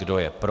Kdo je pro?